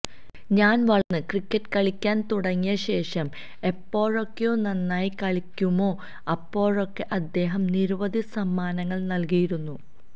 ഞാന് വളര്ന്ന് ക്രിക്കറ്റ് കളിക്കാന് തുടങ്ങിയ ശേഷം എപ്പോഴോക്കെ നന്നായി കളിക്കുമോ അപ്പോഴോക്കെ അദ്ദേഹം നിരവധി സമ്മാനങ്ങള് നല്കിയിരുന്നു